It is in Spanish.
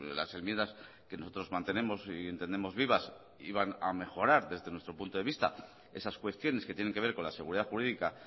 las enmiendas que nosotros mantenemos y entendemos vivas iban a mejorar desde nuestro punto de vista esas cuestiones que tienen que ver con la seguridad jurídica